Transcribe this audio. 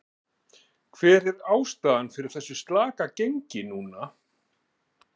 Hver er ástæðan fyrir þessu slaka gengi núna?